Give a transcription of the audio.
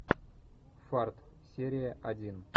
фарт серия один